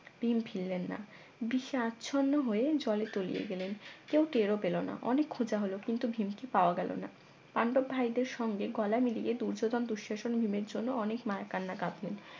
ভীম ফিরলেন না বিষে আচ্ছন্ন হয়ে জলে তলিয়ে গেলেন কেউ টেরও পেল না অনেক খোঁজা হলো কিন্তু ভীমকে পাওয়া গেল না পান্ডব ভাইদের সঙ্গে গলা মিলিয়ে দূর্যোধন দুঃশাসন ভীমের জন্য অনেক মায়া কান্না কাঁদলেন